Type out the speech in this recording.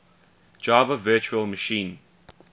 java virtual machine